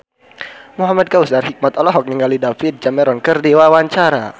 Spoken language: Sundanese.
Muhamad Kautsar Hikmat olohok ningali David Cameron keur diwawancara